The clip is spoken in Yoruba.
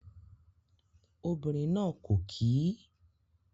Obìnrin náà kò kí ì